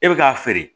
E bɛ k'a feere